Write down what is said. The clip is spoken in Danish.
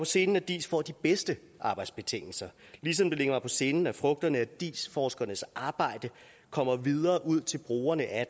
sinde at diis får de bedste arbejdsbetingelser ligesom det ligger mig på sinde at frugterne af diis forskernes arbejde kommer videre ud til brugerne af